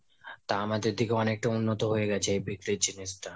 তা আমাদের থেকে অনেকটা উন্নত হয়েগেছে এই বিক্রির জিনিষটা।